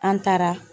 An taara